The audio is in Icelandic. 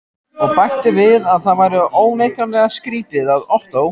Og bætti við að það væri óneitanlega skrýtið, að Ottó